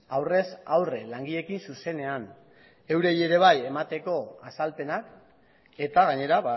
aurrez aurre langileekin zuzenean eurei ere bai emateko azalpenak eta gainera